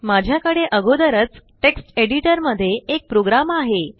माझ्याकडे आगोदरच text editor मध्ये एक प्रोग्राम आहे